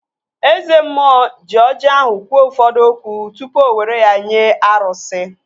Eze mmụọ ji ọjị ahụ kwuo ụfọdụ okwu tupu o were ya nye arụsị